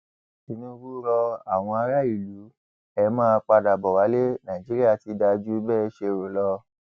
tinubu ro àwọn ará ìlú e máa padà bó wálé nàìjíríà ti dáa jù bẹẹ ṣe rò lọ